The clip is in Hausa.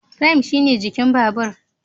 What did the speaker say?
"Frame" shine jikin babur.